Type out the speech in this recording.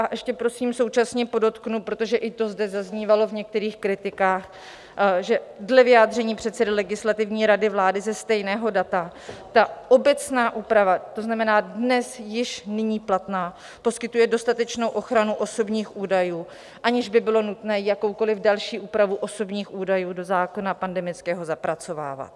A ještě prosím současně podotknu, protože i to zde zaznívalo v některých kritikách, že dle vyjádření předsedy Legislativní rady vlády ze stejného data ta obecná úprava, to znamená dnes, již nyní, platná, poskytuje dostatečnou ochranu osobních údajů, aniž by bylo nutné jakoukoliv další úpravu osobních údajů do zákona pandemického zapracovávat.